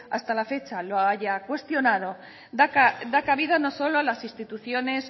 hasta la fecha lo haya cuestionado da cabida no solo a las instituciones